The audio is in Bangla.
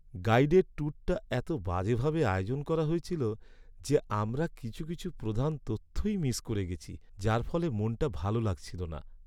গাইডেড ট্যুরটা এতো বাজেভাবে আয়োজন করা হয়েছিল যে আমরা কিছু কিছু প্রধান তথ্যই মিস করে গেছি, যার ফলে মনটা ভালো লাগছিল না।